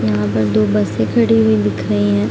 यहाँ पर दो बसें खड़ी हुई दिख रहीं हैं।